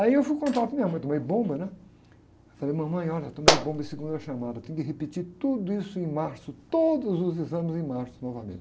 Aí eu fui contar para minha mãe, tomei bomba, né? Falei, mamãe, olha, tomei bomba em segunda chamada, tenho que repetir tudo isso em março, todos os exames em março novamente.